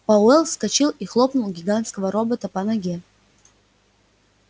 пауэлл вскочил и хлопнул гигантского робота по ноге